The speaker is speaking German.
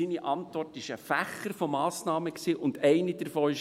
» Seine Antwort war ein Fächer von Massnahmen, und eine davon war: